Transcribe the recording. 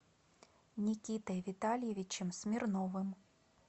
никитой витальевичем смирновым